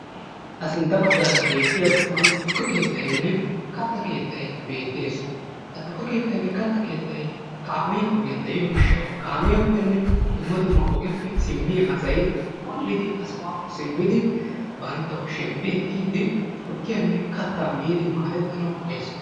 ha sintta baggaara beettiya sohuwan tukke keettaynne katta keettay beettes. ha tukke keettaynne kattay kaamiya ogiyaan de'iyo gishshaw kaamiyappenne dumma dumma ogeppe simmiyaa asay wol''idi ha sohuwakko simmidi bantta kushiyaappe ekkidi tukkiyanne katta miidi maaddetanaw danddayees.